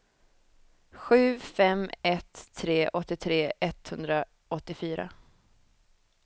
sju fem ett tre åttiotre etthundraåttiofyra